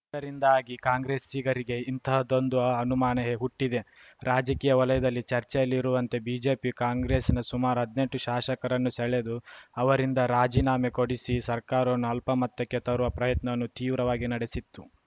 ಇದರಿಂದಾಗಿ ಕಾಂಗ್ರೆಸ್ಸಿಗರಿಗೆ ಇಂತಹದ್ದೊಂದು ಅನುಮಾನ ಹುಟ್ಟಿದೆ ರಾಜಕೀಯ ವಲಯದಲ್ಲಿ ಚರ್ಚೆಯಲ್ಲಿರುವಂತೆ ಬಿಜೆಪಿಯು ಕಾಂಗ್ರೆಸ್‌ನ ಸುಮಾರು ಹದ್ನೆಂಟು ಶಾಶಕರನ್ನು ಸೆಳೆದು ಅವರಿಂದ ರಾಜೀನಾಮೆ ಕೊಡಿಸಿ ಸರ್ಕಾರವನ್ನು ಅಲ್ಪಮತಕ್ಕೆ ತರುವ ಪ್ರಯತ್ನವನ್ನು ತೀವ್ರವಾಗಿ ನಡೆಸಿತ್ತು